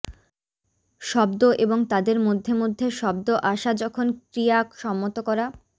শব্দ এবং তাদের মধ্যে মধ্যে শব্দ আসা যখন ক্রিয়া সম্মত করা